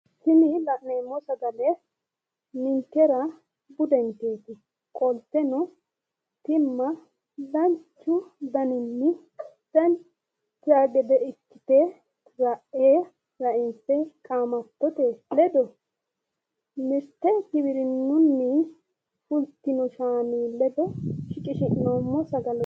Tini la'neemmo sagale ninkera budenketi, tini tima seekkite biife baxisanote mite gibirinunni afi'noommo shaanchoni